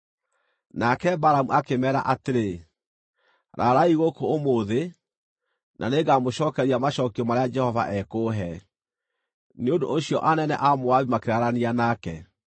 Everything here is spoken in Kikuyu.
Nake Balamu akĩmeera atĩrĩ, “Raraai gũkũ ũmũthĩ, na nĩngamũcookeria macookio marĩa Jehova ekũhe.” Nĩ ũndũ ũcio anene a Moabi makĩraarania nake.